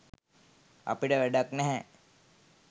අපිට වැඩක් නැහැ.